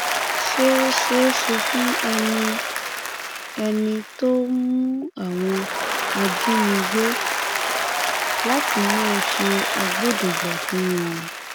ṣé ó ṣeé ṣe fún ẹni ẹni tó ń mú àwọn ajínigbé láti máa ṣe agbódegbà fún wọn